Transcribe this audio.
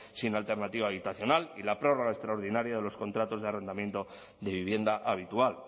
sin alternativa habitacional y la prórroga extraordinaria de los contratos de arrendamiento de vivienda habitual